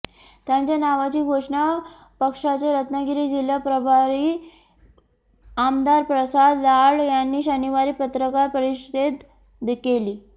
त्यांच्या नावाची घोषणा पक्षाचे रत्नागिरी जिल्हा पभारी आमदार पसाद लाड यांनी शनिवारी पत्रकार परिषदेत केली